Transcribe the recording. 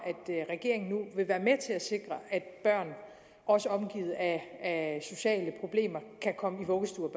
at at sikre at børn også omgivet af sociale problemer kan komme i vuggestue og